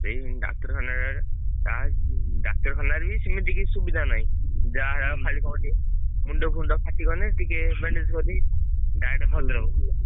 ସେଇ ଡାକ୍ତରଖାନା ରେ ତା ଉଁ ଡାକ୍ତରଖାନାରେ ବି ସିମିତି କିଛି ସୁବିଧା ନାଇଁ। ଯାହା ଯାହା ଖାଲି କଣ ଟିକେ ମୁଣ୍ଡ ଫୁଣ୍ଡ ଫାଟି ଗଲେ ଟିକେ bandage କରି direct ଭଦ୍ରକ।